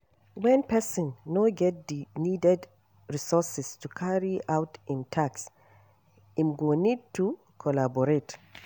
When person no get di needed resources to carry out im task im go need to collaborate